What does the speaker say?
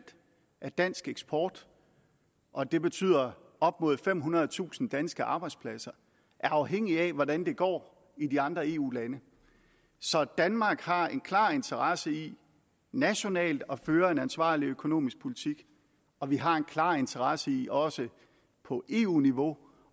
af dansk eksport og det betyder op mod femhundredetusind danske arbejdspladser er afhængig af hvordan det går i de andre eu lande så danmark har en klar interesse i nationalt at føre en ansvarlig økonomisk politik og vi har en klar interesse i også på eu niveau